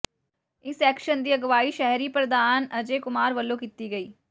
ਇਸ ਐਕਸ਼ਨ ਦੀ ਅਗਵਾਈ ਸ਼ਹਿਰੀ ਪ੍ਰਧਾਨ ਅਜੇ ਕੁਮਾਰ ਵੱਲੋਂ ਕੀਤੀ ਗਈ